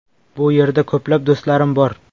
Bu yerda ko‘plab do‘stlarim bor.